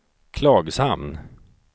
Klagshamn